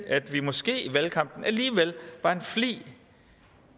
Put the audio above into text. at vi måske i valgkampen alligevel